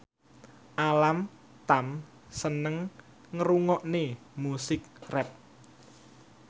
Alam Tam seneng ngrungokne musik rap